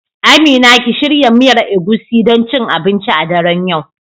Amina ki shirya miyar Egusi don cin abinci a daren yau.